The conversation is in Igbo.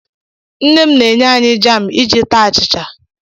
Nne m na-enye anyị jaam iji taa achịcha.